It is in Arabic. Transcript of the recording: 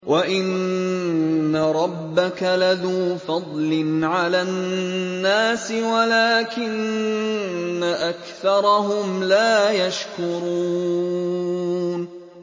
وَإِنَّ رَبَّكَ لَذُو فَضْلٍ عَلَى النَّاسِ وَلَٰكِنَّ أَكْثَرَهُمْ لَا يَشْكُرُونَ